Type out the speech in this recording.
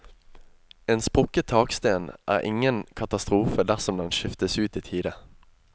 En sprukket taksten er ingen katastrofe dersom den skiftes ut i tide.